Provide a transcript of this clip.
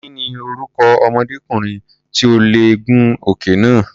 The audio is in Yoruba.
Kí ni orúkọ ọmọdékùnrin tí ò lè gun òkè náà?